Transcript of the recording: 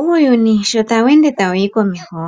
Uuyuni sho tawu ende tawu yi komeho